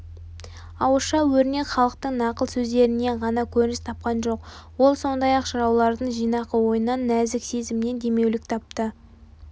ауызша өрнек халықтың нақыл сөздерінен ғана көрініс тапқан жоқ ол сондай-ақ жыраулардың жинақы ойынан нәзік сезімінен демеулік тапты